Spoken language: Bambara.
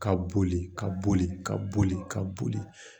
Ka boli ka boli ka boli ka boli